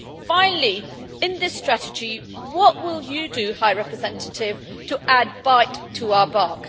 Finally, in this strategy, what will you do, High Representative, to add bite to our bark?